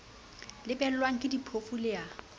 lebellwang ke diphofu le a